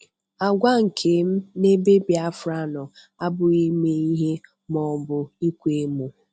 Àgwà nke m n'ebe Biafra nọ abụghị 'ime ihe' ma ọ bụ ịkwa emo.